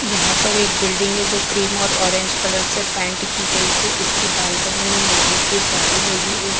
यहाँ पर एक बिल्डिंग हैं जो क्रीम और ऑरेंज कलर से पेंट की गईं है इसकी बालकनी में लोहे की जाली लगी हुई--